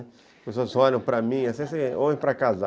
As pessoas olham para mim, assim, homem para casar.